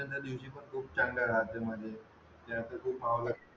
त्यादिवशी खूप चांगले